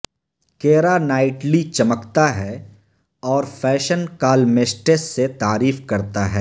کیرا Knightley چمکتا ہے اور فیشن کالمسٹس سے تعریف کرتا ہے